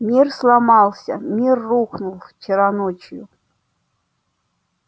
мир сломался мир рухнул вчера ночью